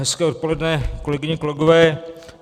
Hezké odpoledne, kolegyně, kolegové.